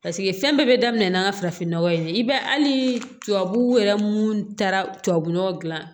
Paseke fɛn bɛɛ bɛ daminɛ n'an ka farafinnɔgɔ ye i b'a ye hali tubabuw yɛrɛ minnu taara tubabu nɔgɔ dilan